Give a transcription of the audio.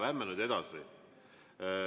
Lähme nüüd edasi.